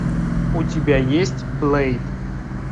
у тебя есть блейд